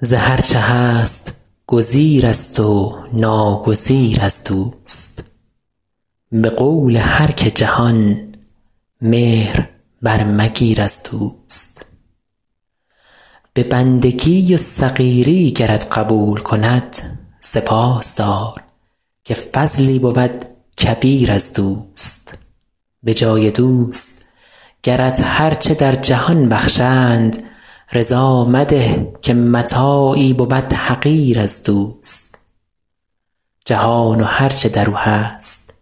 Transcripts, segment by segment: ز هر چه هست گزیرست و ناگزیر از دوست به قول هر که جهان مهر برمگیر از دوست به بندگی و صغیری گرت قبول کند سپاس دار که فضلی بود کبیر از دوست به جای دوست گرت هر چه در جهان بخشند رضا مده که متاعی بود حقیر از دوست جهان و هر چه در او هست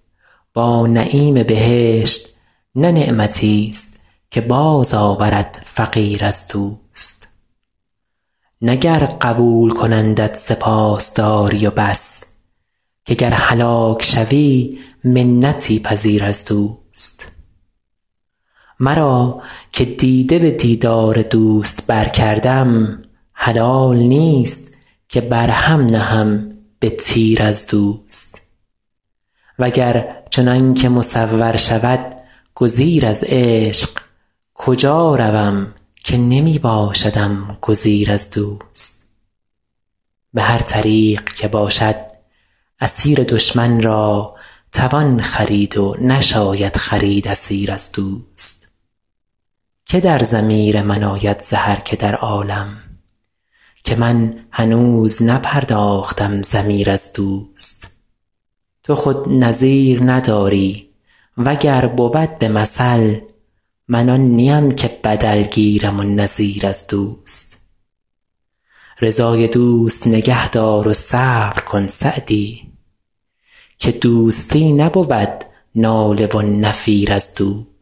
با نعیم بهشت نه نعمتیست که بازآورد فقیر از دوست نه گر قبول کنندت سپاس داری و بس که گر هلاک شوی منتی پذیر از دوست مرا که دیده به دیدار دوست برکردم حلال نیست که بر هم نهم به تیر از دوست و گر چنان که مصور شود گزیر از عشق کجا روم که نمی باشدم گزیر از دوست به هر طریق که باشد اسیر دشمن را توان خرید و نشاید خرید اسیر از دوست که در ضمیر من آید ز هر که در عالم که من هنوز نپرداختم ضمیر از دوست تو خود نظیر نداری و گر بود به مثل من آن نیم که بدل گیرم و نظیر از دوست رضای دوست نگه دار و صبر کن سعدی که دوستی نبود ناله و نفیر از دوست